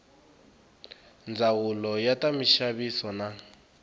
ndzawulo ya ta minxaviso na